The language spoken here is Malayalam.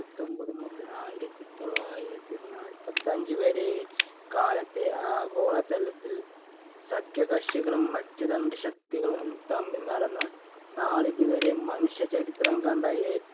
പ്പത്തൊൻപത് മുതല്‍ ആയിരത്തി തൊള്ളായിരത്തി നാൽപ്പത്തഞ്ചു വരെ കാലത്തെ ആഗോളതലത്തിൽ സഖ്യകക്ഷികളും അച്ചുതണ്ടുശക്തികളും തമ്മിൽ നടന്ന നാളിതുവരെ മനുഷ്യചരിത്രം കണ്ട ഏ